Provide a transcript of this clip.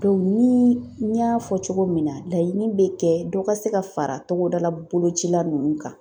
ni n y'a fɔ cogo min na laɲini bɛ kɛ dɔ ka se ka fara togodala bolocila ninnu kan.